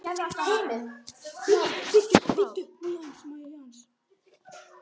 Heimir Már: Það myndi duga?